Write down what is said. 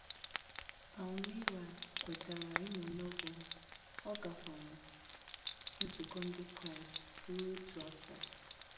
Palmira kwetara ịmụ Novel, ọ gakwara nzukọ ndị Kraịst ruo otu afọ.